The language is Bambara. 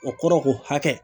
O kɔrɔ ko hakɛ